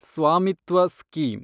Swamitva scheme